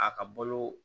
A ka balo